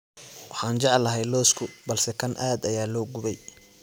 Waxaan jeclahay lawska balse kan aad ayaa loo gubey